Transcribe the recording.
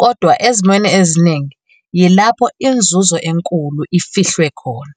kodwa ezemweni eziningi yilapho "inzuzo enkulu" ifihlwe khona.